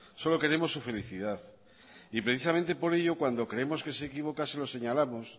solo queremos su felicidad y precisamente por ello cuando creemos que se equivoca se lo señalamos